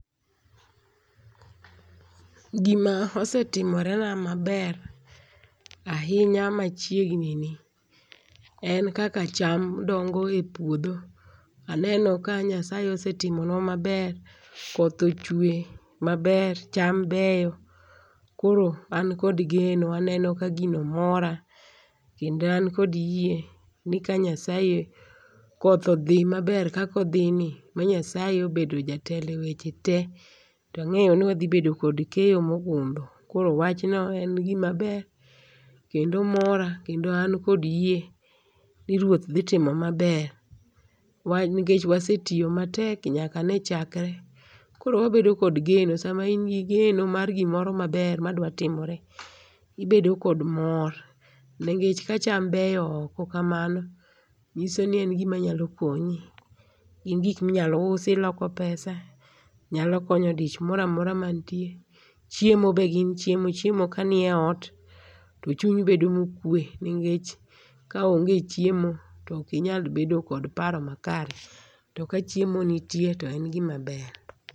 Gi ma osetimore na maber ahinya ma chiegni ni en kaka cham dongo e puodho. Aneno ka nyasaye osetimonwa ma ber koth ochwe ma ber ,cham beyo koro an kod geno aneno ka gino mora kendo an kod yie ni ka nyasaye koth odhi ma ber kaka odhi ni ma nyasaye obedo jatelo e weche te to ang'eyo ni wadhibedoo kod keyo mo ogundho koro wachno en gi maber kendo mora kendo an kod yie ni ruoth dhi timo ma ber, wan nikech wasetiyo matek nyaka ne chakre koro wabedo kod geno sa ma in gi geno mar gimoro ma ber ma dwa timore ti ibedo kod mor nikech ka cham beyo oko ka mano ng'iso ni en gi ma nya konyi ,gin gik mi inya usi iloko pesa nyalo konyo dich moro amora mantie. Chiemo be gin chiemo. chiemo ka ni e ot to chunyi bedo ma okwe nikech ka onge chiemo to ok inyal bedo kod paro ma kare to ka chiemo nite to en gi ma ber.